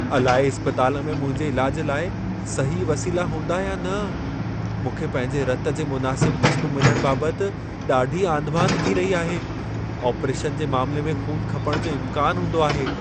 अलाइ इस्पतालि में मुंहिंजे इलाज लाइ सही वसीला हूंदा या न? मूंखे पंहिंजे रत जे मुनासिब क़िस्म मिलण बाबत ॾाढी आंधिमांधि थी रही आहे। ऑपरेशन जे मामिले में ख़ून खपण जो इम्कान हूंदो आहे।